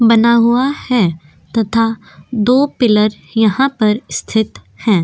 बना हुआ है तथा दो पिलर यहा पर स्थित है।